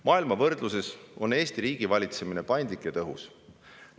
Maailma võrdluses on Eesti riigivalitsemine paindlik ja tõhus.